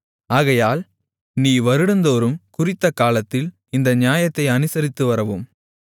ஆகையால் நீ வருடந்தோறும் குறித்த காலத்தில் இந்த நியாயத்தை அனுசரித்து வரவும்